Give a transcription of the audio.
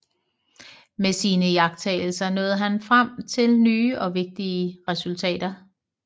Med sine iagttagelser nåede han frem til nye og vigtige resultater